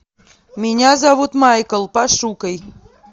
меня зовут майкл пошукай